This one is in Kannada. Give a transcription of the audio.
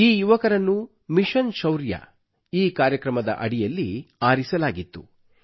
ಈ ಯುವಕರನ್ನು ಮಿಶನ್ ಶೌರ್ಯ ಈ ಕಾರ್ಯಕ್ರಮದ ಅಡಿಯಲ್ಲಿ ಆರಿಸಲಾಗಿತ್ತು